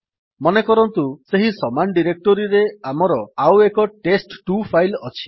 ମନେକରନ୍ତୁ ସେହି ସମାନ୍ ଡିରେକ୍ଟୋରିରେ ଆମର ଆଉ ଏକ ଟେଷ୍ଟ2 ଫାଇଲ୍ ଅଛି